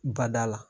Bada la